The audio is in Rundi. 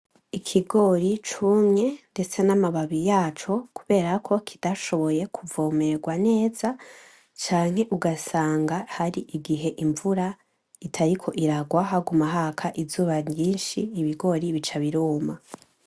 Ikigori cumye ndetse n'amababi yaco kubera ko kitashoboye kuvomerwa neza, canke ugasanga hari igihe imvura itariko irarwa haguma haka izuba nyinshi, ibigori bica biruma.